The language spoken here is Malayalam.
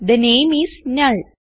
തെ നാമെ ഐഎസ് നുൾ